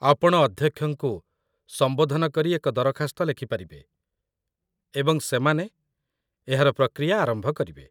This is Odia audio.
ଆପଣ ଅଧ୍ୟକ୍ଷଙ୍କୁ ସମ୍ବୋଧନ କରି ଏକ ଦରଖାସ୍ତ ଲେଖିପାରିବେ, ଏବଂ ସେମାନେ ଏହାର ପ୍ରକ୍ରିୟା ଆରମ୍ଭ କରିବେ